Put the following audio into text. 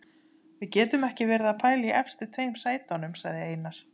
Við getum ekki verið að pæla í efstu tveim sætunum, sagði Einar.